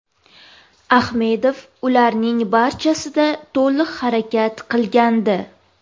Ahmedov ularning barchasida to‘liq harakat qilgandi.